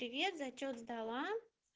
привет зачёт сдала